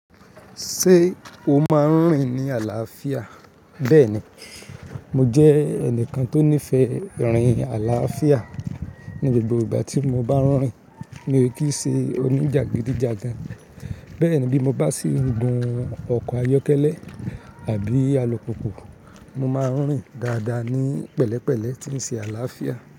Ṣé o máa ń rìn ní àlàáfíà? Bẹ́ẹ̀ni, mo jẹ́ ẹnìkan tó nífẹ̀ẹ́ rìn àlàáfíà. Ni gbogbo ìgbà tí mo bá ń rìn, mi ò kí ń ṣe oní jagidijagan. Bẹ́ẹ̀ ni bí mo bá sì ń gun ọkọ̀ ayọ́kẹ́lẹ́ àbí alùpùpù, mo máa ń rìn dáadáa ní pẹ̀lẹ́pẹ̀lẹ́ tí ń ṣe àlàáfíà.